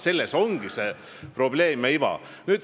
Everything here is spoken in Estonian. Selles ongi see probleem ja iva.